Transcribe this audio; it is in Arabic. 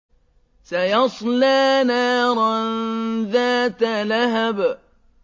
سَيَصْلَىٰ نَارًا ذَاتَ لَهَبٍ